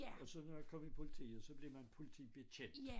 Og så når jeg kom i politiet så blev man politibetjent